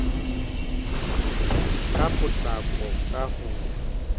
ka potlako ka ho ya